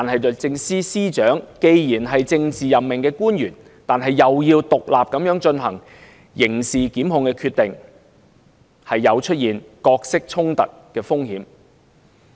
律政司司長既是政治任命官員，但同時要獨立地進行刑事檢控決定，有角色衝突的風險。